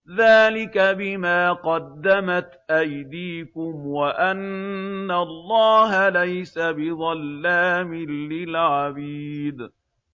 ذَٰلِكَ بِمَا قَدَّمَتْ أَيْدِيكُمْ وَأَنَّ اللَّهَ لَيْسَ بِظَلَّامٍ لِّلْعَبِيدِ